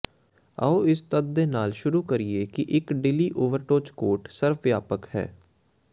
ਆਉ ਇਸ ਤੱਥ ਦੇ ਨਾਲ ਸ਼ੁਰੂ ਕਰੀਏ ਕਿ ਇੱਕ ਢਿੱਲੀ ਓਵਰਟੌਚ ਕੋਟ ਸਰਵ ਵਿਆਪਕ ਹੈ